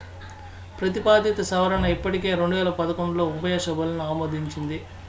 ప్రతిపాదిత సవరణ ఇప్పటికే 2011లో ఉభయ సభలను ఆమోదించింది